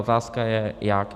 Otázka je jak.